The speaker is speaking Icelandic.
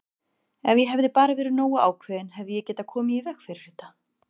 Ef ég hefði bara verið nógu ákveðinn hefði ég getað komið í veg fyrir þetta!